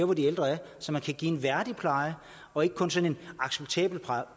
hvor de ældre er så man kan give dem en værdig pleje og ikke kun sådan en acceptabel